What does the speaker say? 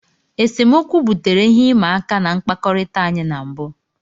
Esemokwu butere ihe ịma aka na mkpakọrịta anyị na mbụ.